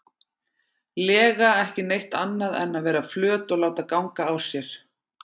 lega ekki neitt annað en að vera flöt og láta ganga á sér.